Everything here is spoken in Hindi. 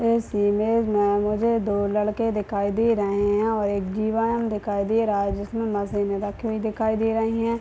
इस इमेज में मुझे दो लड़के दिखाई दे रहे हैं और एक जिवान दिखाई दे रहा है जिसमें मशीनें रखी हुई दिखाई दे रही है।